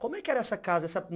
Como é que era essa casa?